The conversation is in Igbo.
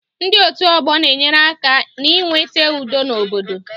Ndị otu ọgbọ na-enyere aka n'iweta udo n'obodo